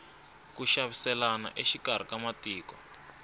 ku xaviselana exikarhi ka matiko